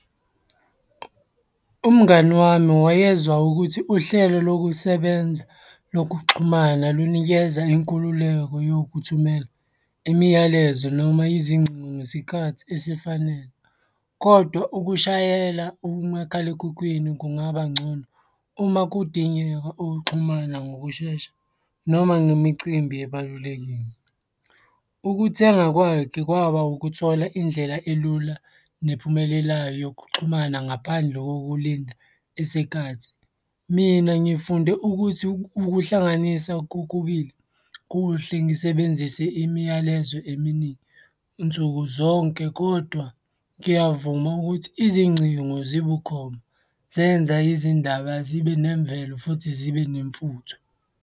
Umngani wami wayezwa ukuthi uhlelo lokusebenza lokuxhumana lunikeza inkululeko yokuthumela imiyalezo noma izingcingo ngesikhathi esifanele, kodwa ukushayela umakhalekhukhwini kungaba ngcono uma kudingeka ukuxhumana ngokushesha noma ngemicimbi ebalulekile. Ukuthenga kwakhe kwaba ukuthola indlela elula nephumelelayo yokuxhumana ngaphandle kokulinda isikhathi. Mina ngifunde ukuthi ukuhlanganisa kokubili kuhle ngisebenzise imiyalezo eminingi nsuku zonke, kodwa ngiyavuma ukuthi izingcingo zibukhoma, zenza izindaba zibe nemvelo futhi zibe nemfutho.